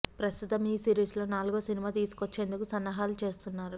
ప్రస్తుతం ఈ సిరీస్ లో నాలుగో సినిమా తీసుకొచ్చేందుకు సన్నాహాలు చేస్తున్నారు